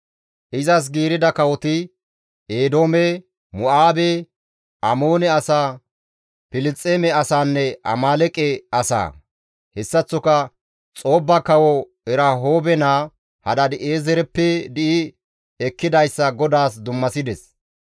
Izas giirida kawoti, Eedoome, Mo7aabe, Amoone asaa, Filisxeeme asaanne Amaaleeqe asaa. Hessaththoka Xoobba kawo Erahoobe naa Hadaadi7eezereppe di7i ekkidayssa GODAAS dummasides.